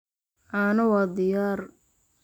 Caano waa diyaar.